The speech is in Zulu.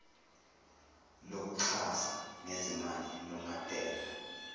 lokuxhasa ngezimali lungabhekwa